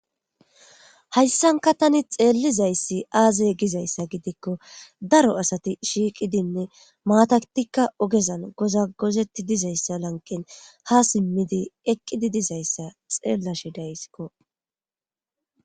hayssankka tani xeellizayssi aaze gizayssa gidikko daro asati shiiqidinne maatatikka oogezan goza gozetti dizayssa lanqen ha simmidi eqqidi dizayssa xeellashe daysikko